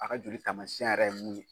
A ka joli taamasiyɛn yɛrɛ ye mun ye.